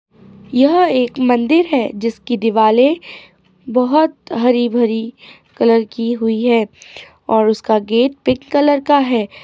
यह एक मंदिर है जिस की दिवाले बहोत हरी भरी कलर की हुई है। और उसका गेट पिक कलर का है।